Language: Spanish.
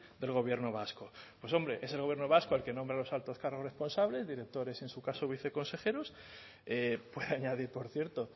del gobierno vasco pues hombre es el gobierno vasco el que nombra los altos cargos responsables directores en su caso viceconsejeros puedo añadir por cierto